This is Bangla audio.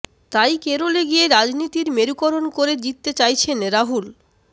তাই কেরলে গিয়ে রাজনীতির মেরুকরণ করে জিততে চাইছেন রাহুল